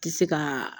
Tɛ se ka